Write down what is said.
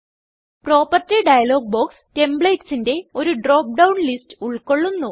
property dialog box Templatesന്റെ ഒരു drop down list ഉൾകൊള്ളുന്നു